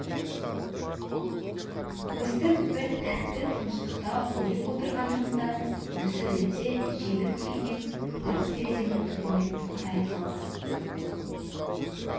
өстіп бір тәтті тыныштықта ұйып отырғанымызда дүсірлете желіп келген ат терезенің түбіне тоқтай қалды